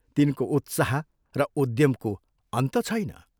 तिनको उत्साह र उद्यमको अन्त छैन।